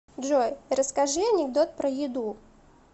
джой расскажи анекдот про еду